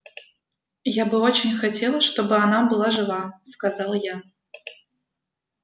я бы очень хотел чтобы она была жива сказал я